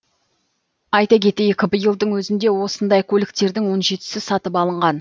айта кетейік биылдың өзінде осындай көліктердің он жетісі сатып алынған